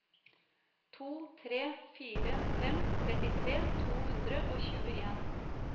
to tre fire fem trettitre to hundre og tjueen